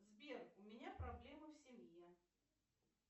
сбер у меня проблемы в семье